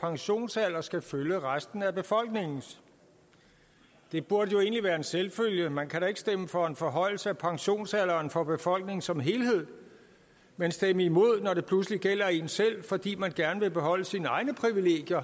pensionsalder skal følge resten af befolkningens det burde jo egentlig være en selvfølge man kan da ikke stemme for en forhøjelse af pensionsalderen for befolkningen som helhed men stemme imod når det pludselig gælder en selv fordi man gerne vil beholde sine egne privilegier